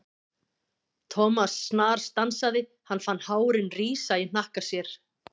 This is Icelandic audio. Thomas snarstansaði, hann fann hárin rísa í hnakka sér.